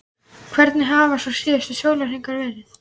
Hvernig hafa svo síðustu sólarhringar verið?